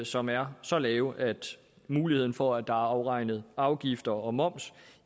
som er så lave at muligheden for at der er afregnet afgifter og moms